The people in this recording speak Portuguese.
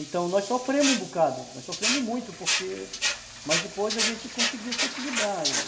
Então nós sofremos um bocado, nós sofremos muito, porque, mas depois a gente conseguiu se equilibrar.